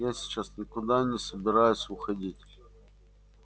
я сейчас никуда не собираюсь уходить